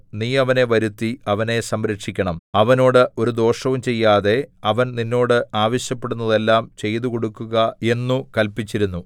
നീ അവനെ വരുത്തി അവനെ സംരക്ഷിക്കണം അവനോട് ഒരു ദോഷവും ചെയ്യാതെ അവൻ നിന്നോട് ആവശ്യപ്പെടുന്നതെല്ലാം ചെയ്തുകൊടുക്കുക എന്നു കല്പിച്ചിരുന്നു